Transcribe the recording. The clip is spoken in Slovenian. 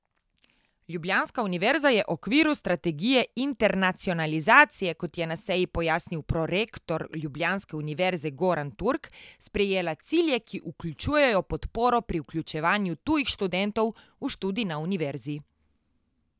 Ljubljanska univerza je okviru strategije internacionalizacije, kot je na seji pojasnil prorektor ljubljanske univerze Goran Turk, sprejela cilje, ki vključujejo podporo pri vključevanju tujih študentov v študij na univerzi.